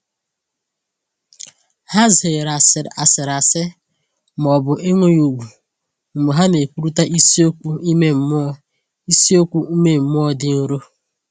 Ha zere asịrị asị ma ọ bụ enweghị ùgwù mgbe ha na-ekwurịta isiokwu ime mmụọ isiokwu ime mmụọ dị nro.